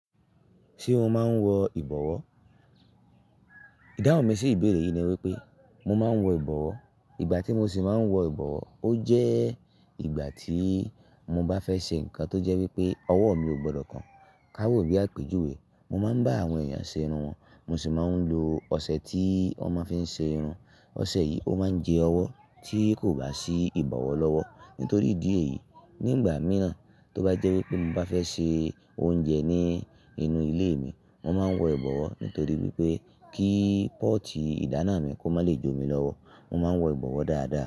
Ṣé o máa ń wọ ìbọ̀wọ́? Ìdáhùn mi sí ìbéèrè yìí ni wípé mo máa ń wọ ìbọ̀wọ́. Ìgbà tí mo sì máa ń wọ ìbọ̀wọ́, ó jẹ́ ìgbà tí mo bá fẹ́ ṣe nǹkan tó jẹ́ wípé ọwọ́ mi ò gbọdọ̀ kan. Ka wò bí a péjú wèé, mo máa ń bá àwọn èèyàn ṣe irun wọn, mo sì máa ń lo ọṣẹ tí wọ́n máa fi ń ṣe irun. Ọṣẹ yìí ó máa ń jẹ ọwọ́ tí kò bá sí ìbọ̀wọ̀ lọ́wọ́. Nítorí ìdí èyí, nígbà mìíràn tó bá jẹ́ wípé mo bá fẹ́ ṣe oúnjẹ ní inú ilé mi, mo máa ń wọ ìbọ̀wọ́. Nítorí wípé kí pọ́ọ̀tì ìdáná mi kó má lè jó mi lọ́wọ́. Mo máa ń wọ ìbọ̀wọ́ dáadáa.